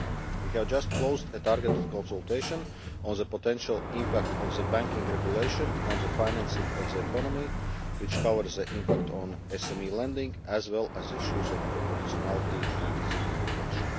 We have just closed a target consultation on the potential impact of the banking regulation on the financing of the economy, which covers the impact on SME lending as well as issues of proportionality and simplification.